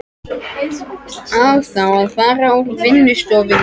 Á þá að fara úr vinnustofunni.